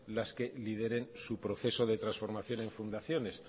las que lideren su proceso de transformación en fundaciones